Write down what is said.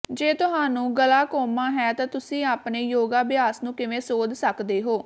ਜੇ ਤੁਹਾਨੂੰ ਗਲਾਕੋਮਾ ਹੈ ਤਾਂ ਤੁਸੀਂ ਆਪਣੇ ਯੋਗਾ ਅਭਿਆਸ ਨੂੰ ਕਿਵੇਂ ਸੋਧ ਸਕਦੇ ਹੋ